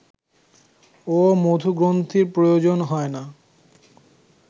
ও মধুগ্রন্থির প্রয়োজন হয় না